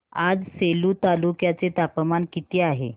आज सेलू तालुक्या चे तापमान किती आहे